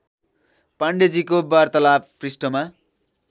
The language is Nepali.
पाण्डेजीको वार्तालाप पृष्ठमा